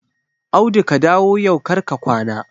Audu ka dawo yau kar ka kwana!